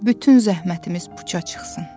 Bütün zəhmətimiz puça çıxsın.